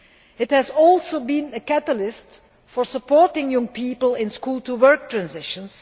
It has also been a catalyst for supporting young people in school to work transitions.